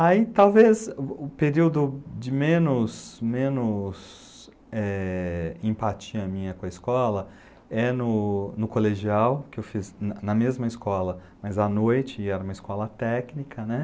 Aí, talvez, o período de menos, menos empatia minha com a escola é no colegial, que eu fiz na mesma escola, mas à noite, e era uma escola técnica, né?